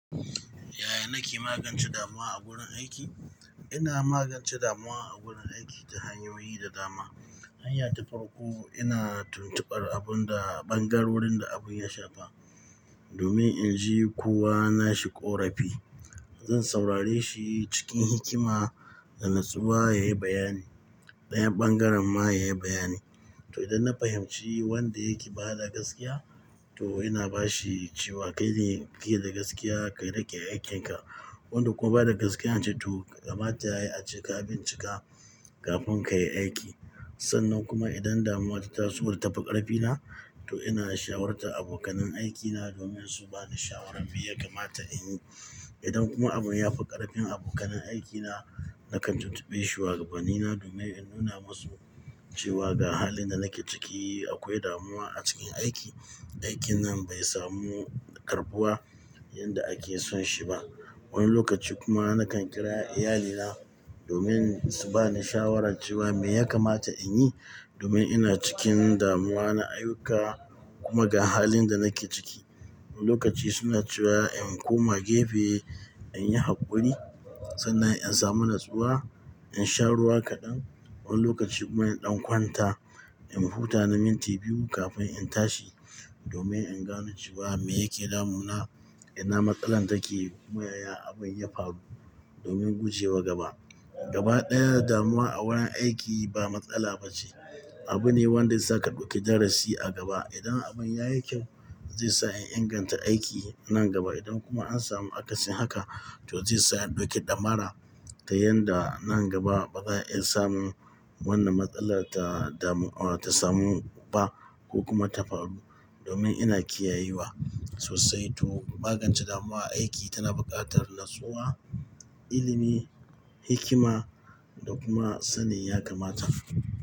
Yaya nake magance damuwa a wurin aiki? Ina magance damuwa a wurin aiki ta hanyoyi da dama. Hanya ta farko, ina tuntubar abun da ɓangarorin da abun ya shafa domin in ji ko wa na shi ƙarfi. Zan saurare shi cikin hikima da natsuwa ya yi bayani, dayan bangaren ma ya yi bayani. To, idan na fahimci wanda yake ba da gaskiya, to ina ba shi cewa kai ne ke da gaskiya, ka riƙe aikin ka. Wanda kuma ba da gaskiya na ce to, kamata ya yi a ce ka bincika kafin ka yi aiki. Sannan kuma idan damuwa ta tasu da ta fi ƙarfina, to ina shawarar ta abokanai aikina domin su ba ni shawarar me ya kamata in yi. Idan kuma abun ya fi ƙarfin abokanai aikina, nakan tuntube shuwagabanni na domin in nuna masu cewa ga halin da nake ciki akwai damuwa a cikin aiki. Aikin nan bai samu ƙarɓuwa yanda ake son shi ba. Wani lokaci kuma nakan kira iyalina domin subani shawara cewa me yakamata inyi domin inacikin damuwa na ayyuka kuma da halin da nake ciki su ba ni shawarar cewa me yake damuna, ina matsala take kuma yaya abin ya faru domin gujewa gaba. Gaba ɗaya damuwa a wurin aiki ba matsala ba ce. Abu ne wanda zaka ɗauke darasi a gaba. Idan abin ya yi kyau, zai sa in inganta aiki nan gaba. Idan kuma an samu akasin haka, to zai sa in ɗauke ɗammara ta yanda nan gaba baza a iya samu wannan matsalar ta damu-- ta samu ba ko kuma ta faru domin ina kiyayewa sosai. To, magance damuwa aiki tana buƙatar natsuwa, ilimi, hikima da kuma sanin ya kamata.